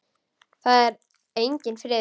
Það er enginn friður!